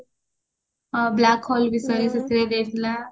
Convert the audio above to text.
ଆଉ black ହଲ ବିଷୟରେ ସେଥିରେ ଦେଇଥିଲା